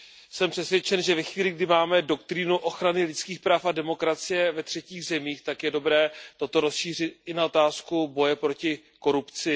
Jsem přesvědčen, že ve chvíli, kdy máme doktrínu ochrany lidských práv a demokracie ve třetích zemích, tak je dobré toto rozšířit i na otázku boje proti korupci.